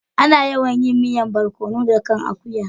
Ana yawan yin miyan borkonu da kai akuya.